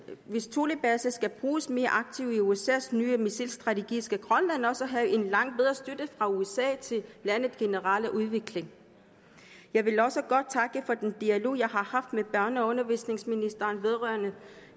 hvis thulebasen skal bruges mere aktivt i usas nye missilstrategi skal grønland også have en langt bedre støtte fra usa til landets generelle udvikling jeg vil også godt takke for den dialog jeg har haft med børne og undervisningsministeren vedrørende